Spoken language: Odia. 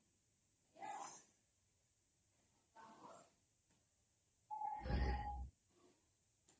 noise